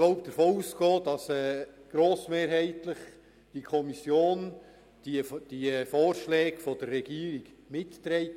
Ich kann wohl davon ausgehen, dass die Kommission die Vorschläge der Regierung mitträgt.